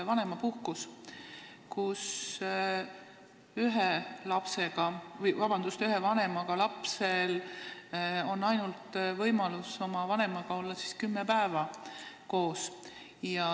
Vanemapuhkuse ajal on ühe vanemaga lapsel võimalus oma vanemaga olla kümme päeva koos.